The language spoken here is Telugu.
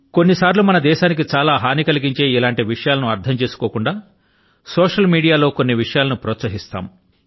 కొన్నిసర్లు మన దేశానికి చాలా హాని కలిగించే ఇటువంటి విషయాలను అర్థం చేసుకోకుండా సోశల్ మీడియా లో కొన్ని విషయాల ను ప్రోత్సహిస్తాం